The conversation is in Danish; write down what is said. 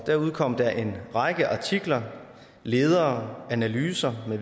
udkom der en række artikler ledere analyser